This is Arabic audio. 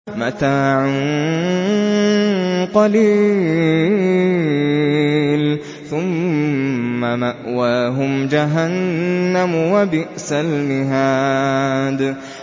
مَتَاعٌ قَلِيلٌ ثُمَّ مَأْوَاهُمْ جَهَنَّمُ ۚ وَبِئْسَ الْمِهَادُ